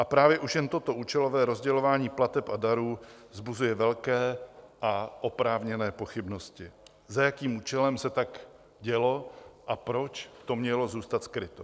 A právě už jen toto účelové rozdělování plateb a darů vzbuzuje velké a oprávněné pochybnosti, za jakým účelem se tak dělo a proč to mělo zůstat skryto.